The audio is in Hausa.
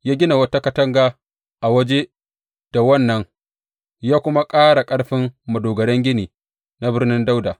Ya gina wata katanga a waje da wannan, ya kuma ƙara ƙarfin madogaran gini na Birnin Dawuda.